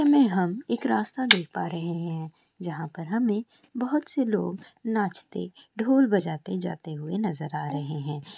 में हम एक रास्ता देख पा रहे हैं। जहां पर हमें बहुत से लोग नाचते ढोल बजाते-जाते हुए नजर आ रहे हैं।